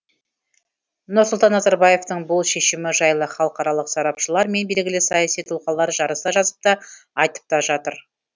нұрсұлтан назарбаевтың бұл шешімі жайлы халықаралық сарапшылар мен белгілі саяси тұлғалар жарыса жазып та айтып та жатыр